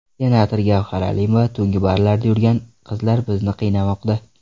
Senator Gavhar Alimova: Tungi barlarda yurgan qizlar bizni qiynamoqda.